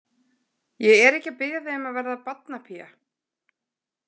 Ég er ekki að biðja þig um að vera barnapía.